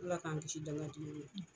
Ala k'an kisi dankan jugu ma.